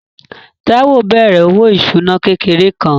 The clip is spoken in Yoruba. Táíwò bẹ̀rẹ̀ òwò ìṣúná kékeré kan